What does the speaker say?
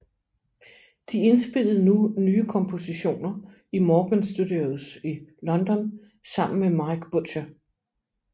De indspillede nu nye kompositioner i Morgan Studios i London sammen med Mike Butcher